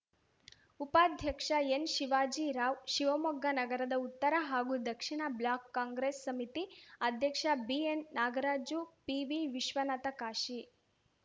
ಉಪಾಧ್ಯಕ್ಷ ಎನ್‌ಶಿವಾಜಿ ರಾವ್‌ ಶಿವಮೊಗ್ಗ ನಗರದ ಉತ್ತರ ಹಾಗೂ ದಕ್ಷಿಣ ಬ್ಲಾಕ್‌ ಕಾಂಗ್ರೆಸ್‌ ಸಮಿತಿ ಅಧ್ಯಕ್ಷ ಬಿಎನ್ ನಾಗರಾಜು ಪಿವಿವಿಶ್ವನಾಥ ಕಾಶಿ